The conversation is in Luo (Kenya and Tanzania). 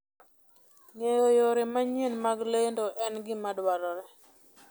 Ng'eyo yore manyien mag lendo en gima dwarore.